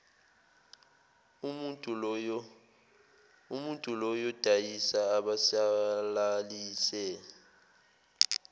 umuntul oyodayisa asabalalise